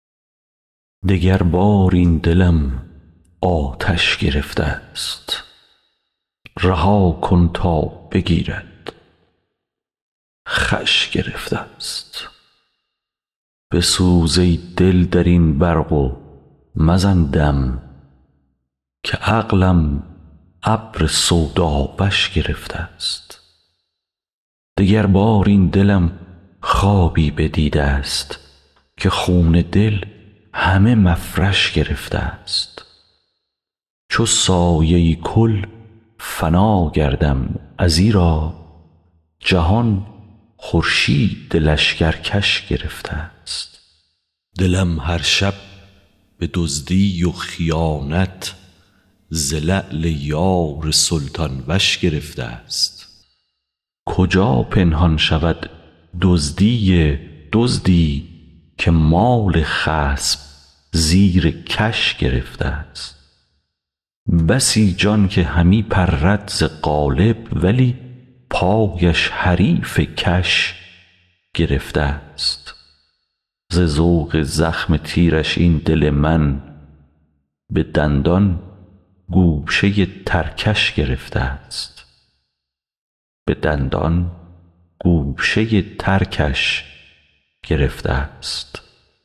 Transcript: دگربار این دلم آتش گرفته ست رها کن تا بگیرد خوش گرفته ست بسوز ای دل در این برق و مزن دم که عقلم ابر سوداوش گرفته ست دگربار این دلم خوابی بدیده ست که خون دل همه مفرش گرفته ست چو سایه کل فنا گردم ازیرا جهان خورشید لشکرکش گرفته ست دلم هر شب به دزدی و خیانت ز لعل یار سلطان وش گرفته ست کجا پنهان شود دزدی دزدی که مال خصم زیر کش گرفته ست بسی جان که همی پرد ز قالب ولی پایش حریف کش گرفته ست ز ذوق زخم تیرش این دل من به دندان گوشه ترکش گرفته ست